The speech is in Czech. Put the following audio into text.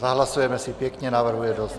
Zahlasujeme si pěkně, návrhů je dost.